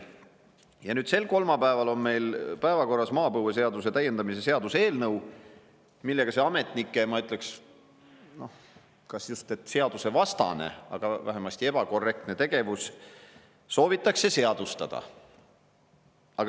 Ja nüüd sel kolmapäeval on meil päevakorras maapõueseaduse täiendamise seaduse eelnõu, millega see ametnike kas just seadusvastane, aga vähemasti ebakorrektne tegevus soovitakse seadustada.